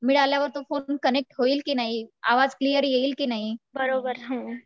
मिळाल्यावर तो phone connect होईल की नाही आवाज क्लियर येईल कि नाही